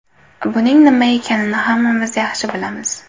Buning nima ekanini hammamiz yaxshi bilamiz.